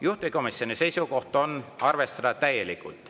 Juhtivkomisjoni seisukoht on arvestada täielikult.